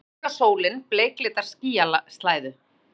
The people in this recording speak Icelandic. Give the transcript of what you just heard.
Spánska sólin bleiklitar skýjaslæðu.